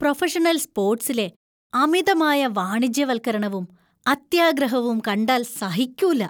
Professional സ്പോർട്സിലെ അമിതമായ വാണിജ്യവൽക്കരണവും, അത്യാഗ്രഹവും കണ്ടാല്‍ സഹിക്കൂല.